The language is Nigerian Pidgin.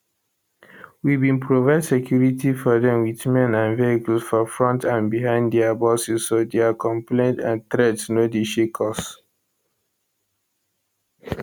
we bin provide security for dem with men and vehicles for front and behind dia buses so dia complaints and threats no dey shake us